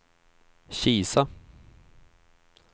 Kisa